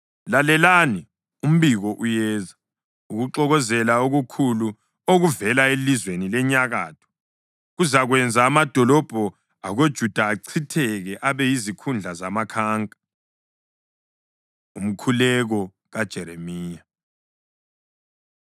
Lalelani! Umbiko uyeza, ukuxokozela okukhulu okuvela elizweni lenyakatho! Kuzakwenza amadolobho akoJuda achitheke, abe yizikhundla zamakhanka. Umkhuleko KaJeremiya